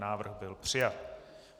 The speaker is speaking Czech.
Návrh byl přijat.